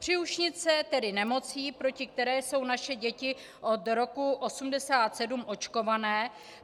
Příušnice jsou nemocí, proti které jsou naše děti od roku 1987 očkované.